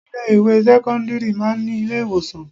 Ilé ìwé sẹ́kọ́ńdírì máa ń ní ilé ìwòsàn.